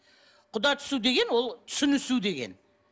құда түсу деген ол түсінісу деген